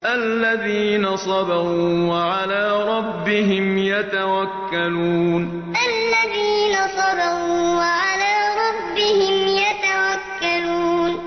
الَّذِينَ صَبَرُوا وَعَلَىٰ رَبِّهِمْ يَتَوَكَّلُونَ الَّذِينَ صَبَرُوا وَعَلَىٰ رَبِّهِمْ يَتَوَكَّلُونَ